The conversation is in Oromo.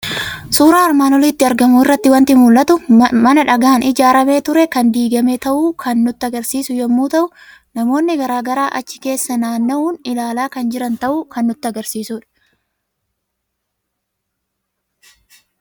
Suuraa armaan olitti argamu irraa waanti mul'atu; mana dhagaan ijaaramee ture kan diigame ta'uu kan nutti agarsiisu yommuu ta'u, namoonni garaagaraa achi keessa naanna'uun ilaalaa kan jiran ta'uu kan nutti agarsiisudha.